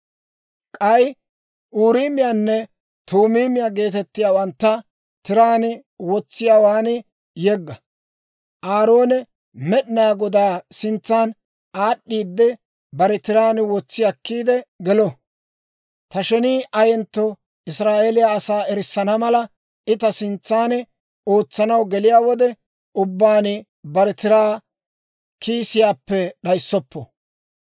K'ay Uuriimiyaanne Tuumiimiyaa geetettiyaawantta tiraan wotsiyaawaan yegga. Aaroone Med'inaa Godaa sintsa aad'd'iidde, bare tiraan wotsi akkiide gelo. Ta shenii ayentto Israa'eeliyaa asaa erissana mala, I ta sintsan ootsanaw geliyaa wode ubbaan bare tiraa kiisiyaappe d'ayssoppo.